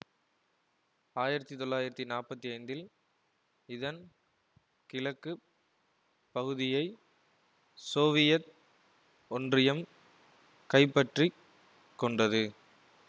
ஆயிரத்தி தொள்ளாயிரத்தி நாற்பத்தி ஐந்தில் இதன் கிழக்கு பகுதியை சோவியத் ஒன்றியம் கைப்பற்றி கொண்டது